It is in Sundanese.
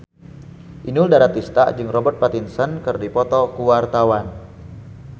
Inul Daratista jeung Robert Pattinson keur dipoto ku wartawan